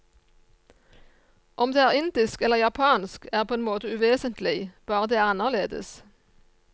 Om det er indisk eller japansk, er på en måte uvesentlig, bare det er annerledes.